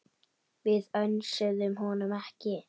Við önsuðum honum ekki.